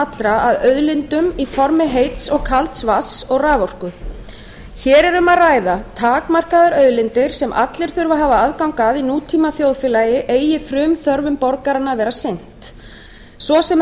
allra að auðlindum í formi heits og kalds vatns og raforku hér er um að ræða takmarkaðar auðlindir sem allir þurfa að hafa aðgang að í nútímaþjóðfélagi eigi frumþörfum borgaranna að vera sinnt svo sem